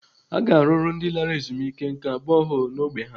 Aga arụrụ ndị lara ezumike nká boholu n'ógbè ha?